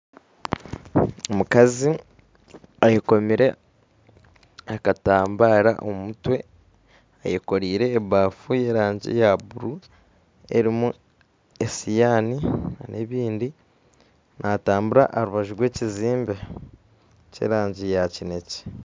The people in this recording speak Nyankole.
Omukazi ayekomire akatambara omumutwe eyekoreire ebafu y'erangi ya blue erumu esihani n'ebindi natambura aharubaju rw'ekizimbe ky'erangi ya kinekye.